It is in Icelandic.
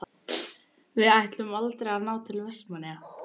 Við ætluðum aldrei að ná til Vestmannaeyja.